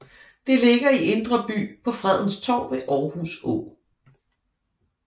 Det ligger i Indre By på Fredens Torv ved Aarhus Å